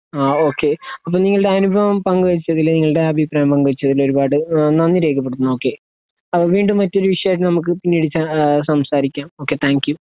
ആ ഓക്കേ അപ്പൊ നിങ്ങളുടെ അനുഭവം പങ്ക് വെച്ചതിൽ നിങ്ങള്ടെ അഭിപ്രായം പങ്കുവെച്ചതിന് ഒരുപാട് ഏഹ് നന്ദി രേഖപെടുത്തുന്നു ഓക്കേ ആ വീണ്ടും മറ്റൊരു വിഷയം നമ്മുക്ക് പിന്നെ ഒരീസാ ഏഹ് ഓക്കേ സംസാരിക്കാം ഓക്കേ താങ്ക് യു